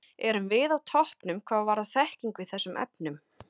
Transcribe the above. Erum við á toppnum hvað varðar þekkingu í þessum efnum?